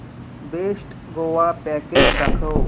best Goa package दाखव